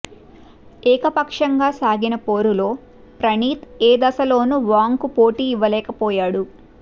ఏకపక్షంగా సాగిన పోరులో ప్రణీత్ ఏ దశలోనూ వాంగ్కు పోటీ ఇవ్వలేకపోయాడు